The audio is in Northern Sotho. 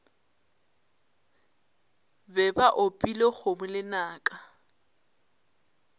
be ba opile kgomo lenaka